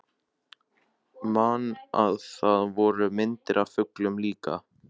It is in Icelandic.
Man að það voru myndir af fuglum líka.